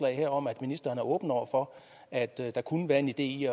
her om at ministeren er åben over for at der kunne være en idé i